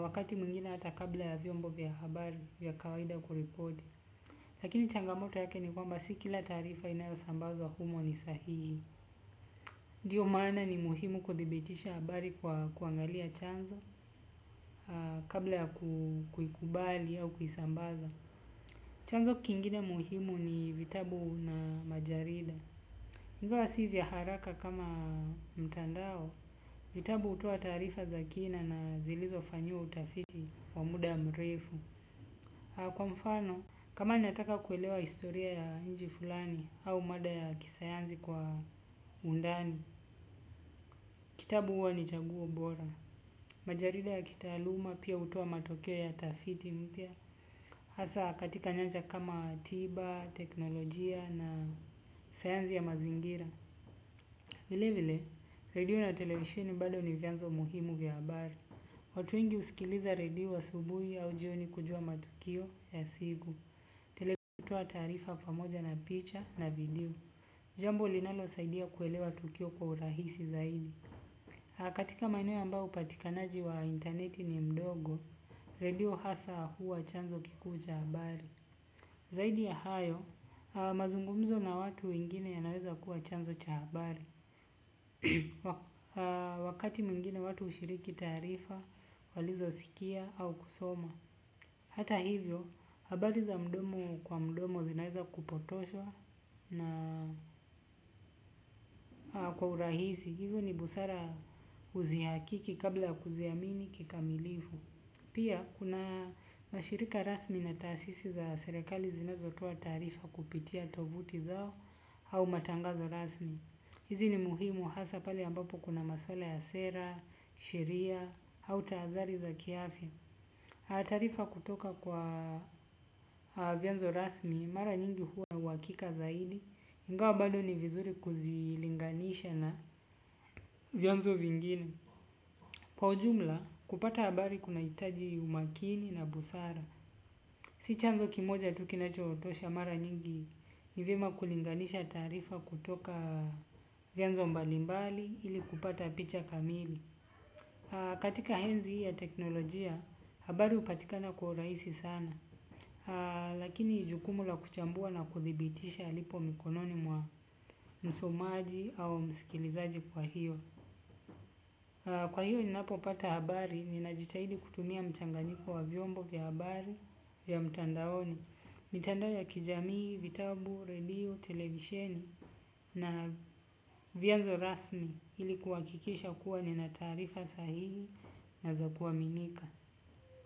Wakati mwingine hata kabla ya vyombo vya habari vya kawaida kuripoti. Lakini changamoto yake ni kwamba si kila taarifa inayosambazwa humo ni sahihi. Ndiyo maana ni muhimu kuthibitisha habari kwa kuangalia chanzo kabla ya kuikubali au kuisambaza. Chanzo kingine muhimu ni vitabu na majarida. Ingawa si vya haraka kama mtandao vitabu hutoa taarifa za kina na zilizofanyiwa utafiti wa muda mrefu. Kwa mfano, kama nataka kuelewa historia ya nchi fulani au mada ya kisayansi kwa undani, kitabu huwa ni chaguo bora. Majarida ya kitaaluma pia hutoa matokeo ya tafiti mpya. Hasa katika nyanja kama tiba, teknolojia na sayansi ya mazingira. Vile vile, redio na televisheni bado ni vyanzo muhimu vya habari. Watu wengi husikiliza redio asubuhi au jioni kujua matukio ya siku, televisheni hutoa taarifa pamoja na picha na video. Jambo linalosaidia kuelewa tukio kwa urahisi zaidi. Katika maeneo ambao upatikanaji wa interneti ni mdogo, redio hasa huwa chanzo kikuu cha habari. Zaidi ya hayo, mazungumzo na watu wengine yanaweza kuwa chanzo cha habari. Wakati mwingine watu hushiriki taarifa walizosikia au kusoma. Hata hivyo, habari za mdomo kwa mdomo zinaeza kupotoshwa na kwa urahisi. Hivyo ni busara uzihakiki kabla kuziamini kikamilifu. Pia, kuna mashirika rasmi na taasisi za serekali zinazotoa taarifa kupitia tovuti zao au matangazo rasmi. Hizi ni muhimu hasa pale ambapo kuna maswala ya sera, sheria, au tahathari za kiafya. Taarifa kutoka kwa vyanzo rasmi, mara nyingi huwa na uhakika zaidi, ingawa bado ni vizuri kuzilinganisha na vyanzo vingine. Kwa ujumla, kupata habari kunahitaji umakini na busara. Si chanzo kimoja tu kinachotosha mara nyingi ni vyema kulinganisha taarifa kutoka vyanzo mbalimbali ili kupata picha kamili. Katika enzi hii ya teknolojia, habari hupatikana kwa urahisi sana. Lakini jukumu la kuchambua na kuthibitisha lipo mikononi mwa msomaji au msikilizaji kwa hiyo. Kwa hiyo ninapopata habari, ninajitahidi kutumia mchanganyiko wa vyombo vya habari vya mtandaoni. Mitandao ya kijamii, vitabu, redio, televisheni na vyanzo rasmi ili kuhakikisha kuwa nina taarifa sahihi na za kuaminika.